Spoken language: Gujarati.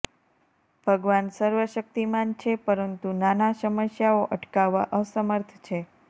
ભગવાન સર્વશક્તિમાન છે પરંતુ નાના સમસ્યાઓ અટકાવવા અસમર્થ છે